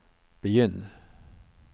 begynn